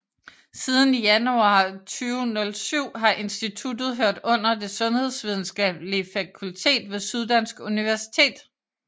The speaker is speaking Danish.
Siden januar 2007 har instituttet hørt under Det Sundhedsvidenskabelige Fakultet ved Syddansk Universitet